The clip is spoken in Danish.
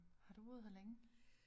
Har du boet her længe?